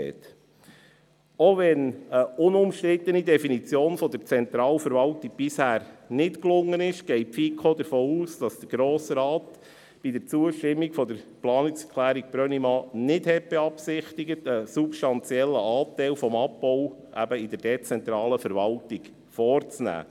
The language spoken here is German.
Auch wenn eine unumstrittene Definition der Zentralverwaltung bisher nicht gelungen ist, geht die FiKo davon aus, dass der Grosse Rat bei der Zustimmung zur Planungserklärung Brönnimann nicht beabsichtigt hat, einen substanziellen Abbau eben in der dezentralen Verwaltung vorzunehmen.